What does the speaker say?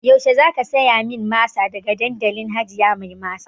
Yaushe zaki siya min masa daga dandalin hajiya mai masa